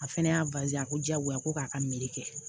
A fɛnɛ y'a a ko diyagoya ko k'a ka meri kɛ